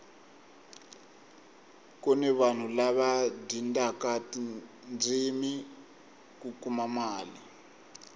kuni vanhu lava dyindaka tindzimi ku kuma mali